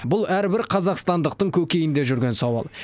бұл әрбір қазақстандықтың көкейінде жүрген сауал